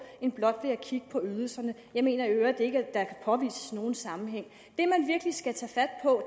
end blot at kigge på ydelserne jeg mener i øvrigt ikke at der kan påvises nogen sammenhæng